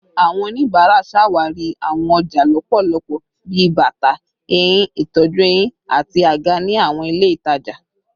Awọn onibara ṣawari awọn ọja lọpọlọpọ bi bata, ehin, itọju ehín, ati aga ni awọn ile itaja